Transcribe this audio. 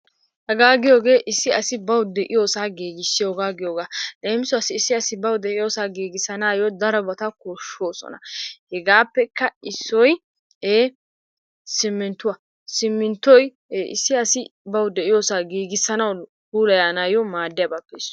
Hegaa giyogee issi as4bawu de'iyosaa giigissiyogaa giyogaa. Leem, issi asi bawu de'iyosaa giigissanaayyo darobata koshshoosona. Hegaappekka issoy simminttuwa. Simminttoy issi asi bawu de'iyosaa giigissanawu, puulayanawu maaddiyabatuppe issuwa.